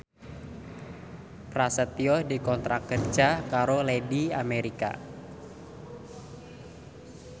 Prasetyo dikontrak kerja karo Lady America